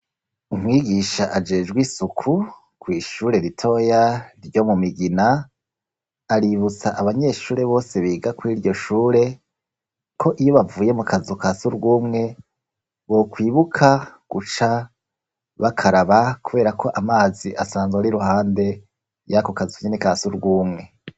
Umwigisha ajejwe isuku kw'ishure ritoya ryo mu Migina, aributsa abanyeshure bose biga kuri iryo shure, ko iyo bavuye mu kazu ka surwumwe, bokwibuka guca bakaraba, kubera ko amazi asanzwe ari iruhande yako kazu nyene ka surwumwe.